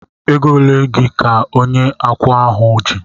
Ego ole gị ka onye akawo ahu ji?